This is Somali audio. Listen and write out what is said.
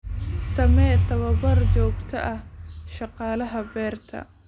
Samee tababar joogto ah shaqaalaha beerta.